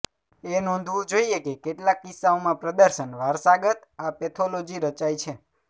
એ નોંધવું જોઇએ કે કેટલાક કિસ્સાઓમાં પ્રદર્શન વારસાગત આ પેથોલોજી રચાય છે